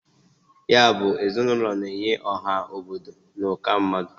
Ya bụ, ezinụlọ na-enye ọha obodo n' ụka mmadụ.